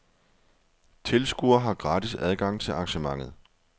Tilskuere har gratis adgang til arrangementet.